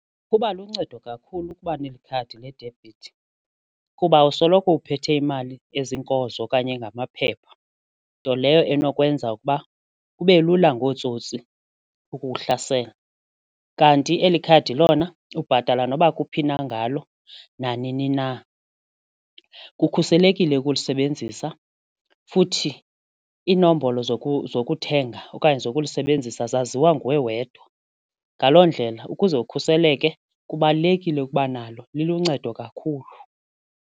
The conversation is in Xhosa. Kuba luncedo kakhulu ukuba nekhadi ledebhithi kuba awusoloko uphethe imali ezinkozo okanye engamaphepha nto leyo enokwenza ukuba kube lula ngootsotsi ukukuhlasela kanti eli khadi lona ubhatala noba kuphi na ngalo nanini na. Kukhuselekile ukulisebenzisa futhi iinombolo zokuthenga okanye zokulisebenzisa zaziwa nguwe wedwa ngaloo ndlela ukuze ukhuseleke kubalulekile ukuba nalo liluncedo kakhulu.